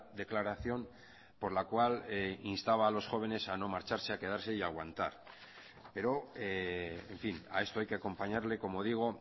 declaración por la cual instaba a los jóvenes a no marcharse a quedarse y a aguantar pero en fin a esto hay que acompañarle como digo